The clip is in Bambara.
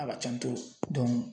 A ka can